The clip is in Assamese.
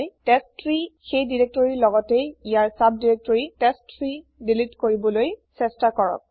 টেষ্টট্ৰী সেই দিৰেক্তৰিৰ লগতেই ইয়াৰ চাব দিৰেক্তৰি টেষ্ট3 দিলিত কৰিবলই চেষ্টা কৰক